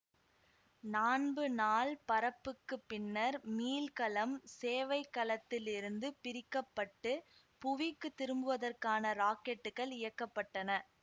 நான்பு நாள் பறப்புக்குப் பின்னர் மீள்கலம் சேவைக் கலத்தில் இருந்து பிரிக்க பட்டு புவிக்குத் திரும்புவதற்கான ராக்கெட்டுகள் இயக்க பட்டன